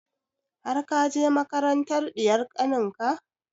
Har ka je makarantar ɗiyar kanin ka?